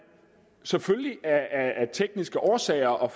selvfølgelig af tekniske årsager